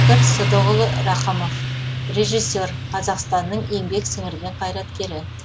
сыдықұлы рақымов режиссер қазақстанның еңбек сіңірген қайраткері